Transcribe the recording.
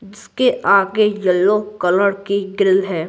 इसके आगे yellow colour की ग्रिल है।